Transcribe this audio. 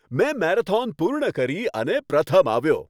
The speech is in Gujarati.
મેં મેરેથોન પૂર્ણ કરી અને પ્રથમ આવ્યો.